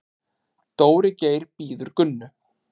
Dóri Geir bíður Gunnu.